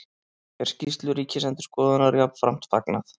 Er skýrslu Ríkisendurskoðunar jafnframt fagnað